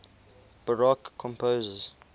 baroque composers